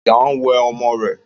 Ìyá ń wẹ ọmọ rẹ̀